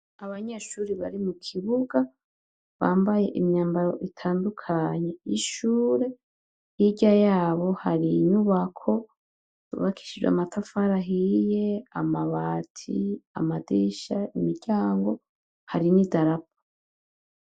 Abanyeshure bari mukibuga bambaye imyambaro itandukanye y'ishure hirya yabo hari inyubako yubakishijwe amatafari ahiye amabati amadirisha imiryango hari n' idarapo.